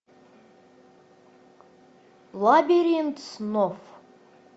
лабиринт снов